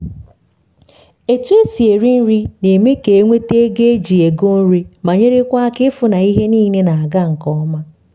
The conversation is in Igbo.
otu esi eri nri na eme ka enwetu ego eji ego nri ma nyekwara aka ịfụ na ihe nile na ga nke ọma